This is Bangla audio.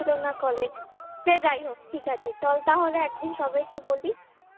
school ছিল না college সে যাই হোক ঠিক আছে চল তাহলে একদিন সবাইকে বলি